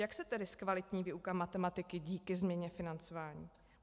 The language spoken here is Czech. Jak se tedy zkvalitní výuka matematiky díky změně financování?